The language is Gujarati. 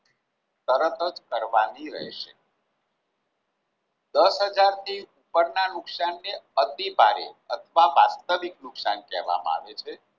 તરત જ કરવાની રહેશે દસ હજારથી ઉપરના નુકશાનને અતિભારે અથવા વાસ્તવિક નુકશાન કેહવામાં આવે છે.